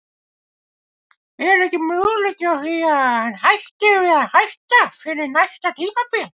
Er ekki möguleiki á því að hann hætti við að hætta fyrir næsta tímabil?